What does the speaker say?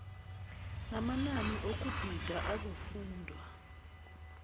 namanani okubhida azokufundwa